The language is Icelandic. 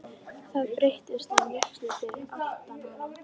Það brast á músík fyrir aftan hana.